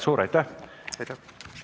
Suur aitäh!